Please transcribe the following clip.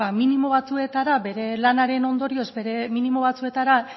minimo batzuetara bere lanaren ondorioz minimo batzuetara